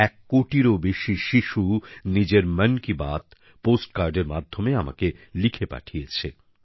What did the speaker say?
এক কোটিরও বেশি শিশু নিজের মন কি বাত পোস্ট কার্ডের মাধ্যমে আমাকে লিখে পাঠিয়েছে